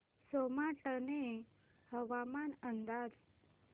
सोमाटणे हवामान अंदाज